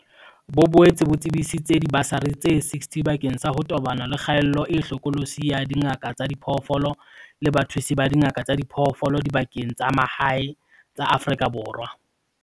Bo boetse bo tsebisitse dibasari tse 60 bakeng sa ho tobana le kgaello e hlokolosi ya dingaka tsa diphoofolo le bathusi ba dingaka tsa diphoofolo dibakeng tsa mahae tsa Afrika Borwa.